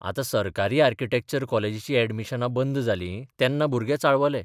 आतां सरकारी आर्किटॅक्चर कॉलेजीचीं अॅडमिशनां बंद जालीं तेन्ना भुरगे चाळवले.